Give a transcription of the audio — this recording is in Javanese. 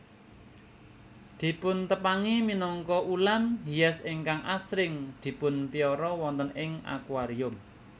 Dipuntepangi minangka ulam hias ingkang asring dipunpiara wonten ing akuarium